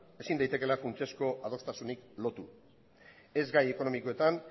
ezin daitekeela funtsezko adostasunik lotu ez gai ekonomietan